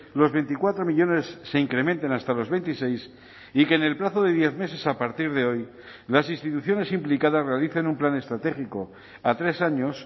los veinticuatro millónes se incrementen hasta los veintiséis y que en el plazo de diez meses a partir de hoy las instituciones implicadas realicen un plan estratégico a tres años